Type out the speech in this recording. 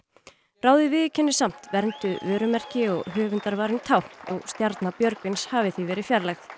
ráðið viðurkenni samt vernduð vörumerki og tákn stjarna Björgvins hafi því verið fjarlægð